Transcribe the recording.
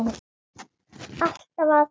Alltaf að.